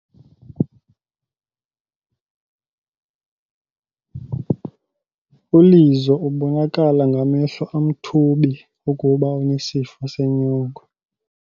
ULizo ubonakala ngamehlo amthubi ukuba unesifo senyongo.